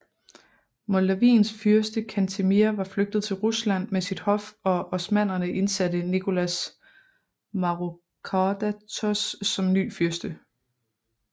Moldaviens fyrste Cantemir var flygtet til Rusland med sit hof og osmannerne indsatte Nicholas Mavrocordatos som ny fyrste